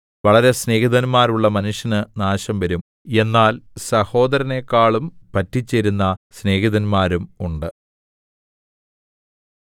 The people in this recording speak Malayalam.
വളരെ സ്നേഹിതന്മാരുള്ള മനുഷ്യന് നാശം വരും എന്നാൽ സഹോദരനെക്കാളും പറ്റിച്ചേരുന്ന സ്നേഹിതന്മാരും ഉണ്ട്